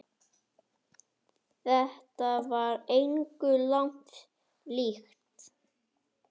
Þetta var engu lagi líkt.